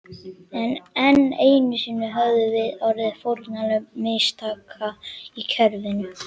Enn einu sinni höfðum við orðið fórnarlömb mistaka í kerfinu.